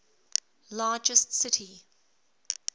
largest city